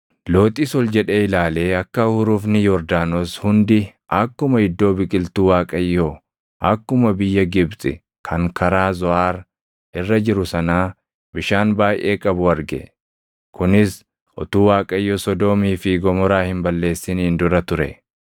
Looxis ol jedhee ilaalee akka hurufni Yordaanos hundi akkuma iddoo biqiltuu Waaqayyoo akkuma biyya Gibxi kan karaa Zoʼaar irra jiru sanaa bishaan baayʼee qabu arge. Kunis utuu Waaqayyo Sodoomii fi Gomoraa hin balleessiniin dura ture.